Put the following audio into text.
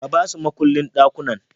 Ka basu mukullin ɗakunan